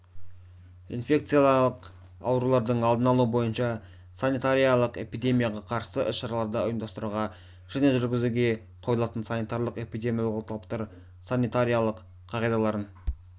инфекциялық аурулардың алдын алу бойынша санитариялық-эпидемияға қарсы іс-шараларды ұйымдастыруға және жүргізуге қойылатын санитариялық-эпидемиологиялық талаптар санитариялық қағидаларын